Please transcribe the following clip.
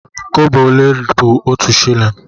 Kobo ole bụ otu shịlịn?